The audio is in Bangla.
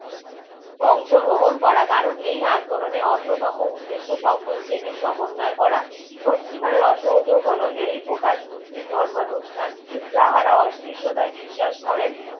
অংশগ্রহণ করা কারণ এই আন্দোলনে অন্যতম উদ্দ্যেশ সকল শ্রেণীর সমন্বয়ে করা সত্যিকারে অসহযোগ হলো এই প্রকাশ সুধীর ধর্মানুসার তাহারা ওসিসটায় বিশ্বাস করেন